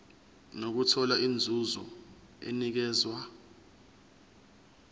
nokuthola inzuzo enikezwa